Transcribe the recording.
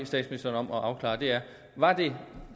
statsministeren om at afklare er var det